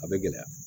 A bɛ gɛlɛya